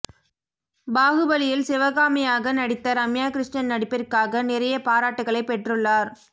பாஹுபலி இல் சிவகமியாக நடித்த ரம்யா கிருஷ்ணன் நடிப்பிற்காக நிறைய பாராட்டுகளை பெற்றுள்ளார்